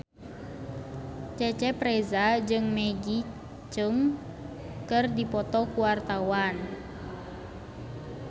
Cecep Reza jeung Maggie Cheung keur dipoto ku wartawan